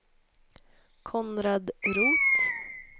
Konrad Roth